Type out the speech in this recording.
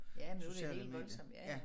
Ja nu det helt voldsomt ja ja